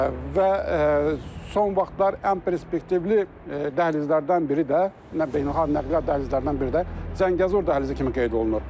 Və son vaxtlar ən perspektivli dəhlizlərdən biri də, beynəlxalq nəqliyyat dəhlizlərindən biri də Zəngəzur dəhlizi kimi qeyd olunur.